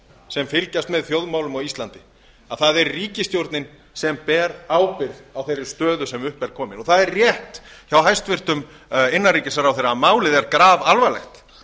sem fylgjast með þjóðmálum á íslandi að það er ríkisstjórnin sem ber ábyrgð á þeirri stöðu sem upp er komin og það er rétt hjá hæstvirtum innanríkisráðherra að málið er grafalvarlegt það